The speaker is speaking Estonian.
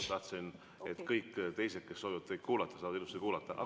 Ma tahtsin, et kõik teised, kes soovivad teid kuulata, saavad ilusti kuulata.